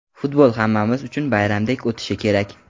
Futbol hammamiz uchun bayramdek o‘tishi kerak.